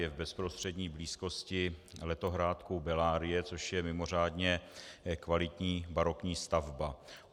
Je v bezprostřední blízkosti letohrádku Bellarie, což je mimořádně kvalitní barokní stavba.